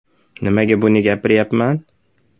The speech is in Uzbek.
Nimaga buni gapiryapman?